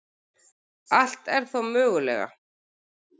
Allt er þó mögulega